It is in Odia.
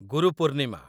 ଗୁରୁ ପୂର୍ଣ୍ଣିମା